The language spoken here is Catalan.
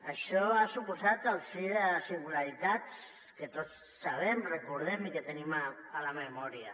això ha suposat el fi de singularitats que tots sabem recordem i que tenim a la memòria